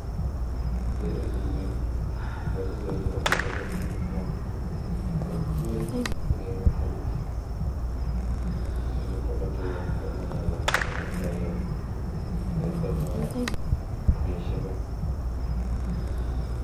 Agere suswek. Susweek chuu ko ke teryio en ingwony. Susweek chuuu ku ame tuga, negoo ak ingokenik.